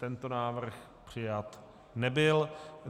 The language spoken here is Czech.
Tento návrh přijat nebyl.